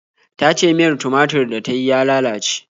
Ta ce miyar tumatur da ta yi ya lalace.